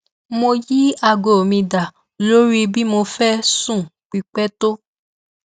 mo yí aago mi da lórí bí mo fẹ sùn pípẹ tó